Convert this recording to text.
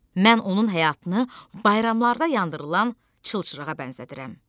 Mən onun həyatını bayramlarda yandırılan çılçırağa bənzədirəm.